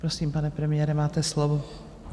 Prosím, pane premiére, máte slovo.